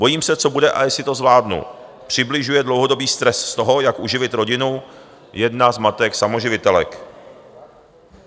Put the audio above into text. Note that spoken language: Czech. Bojím se, co bude a jestli to zvládnu," přibližuje dlouhodobý stres z toho, jak uživit rodinu, jedna z matek samoživitelek.